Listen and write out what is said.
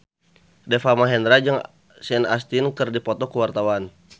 Deva Mahendra jeung Sean Astin keur dipoto ku wartawan